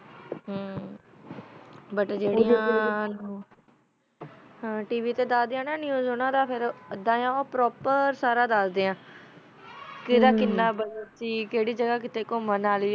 ਬੁਤ ਜਰਿਆ ਤਵ ਤਾ ਨੇਵ੍ਸ ਨੇਵ੍ਸ ਅਦਾ ਆ ਕਾ ਓਹੋ ਪ੍ਰੋਪੇਰ ਸਾਰਾ ਦਸਦਾ ਆ ਕਰ ਕੀਨਾ ਆ ਸੀ ਕਰੀ ਗਾਘਾ ਕੁਮਾਂ ਅਲੀ ਆ